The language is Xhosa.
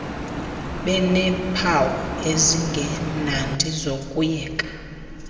beneempawu ezingemnandi zokuyeka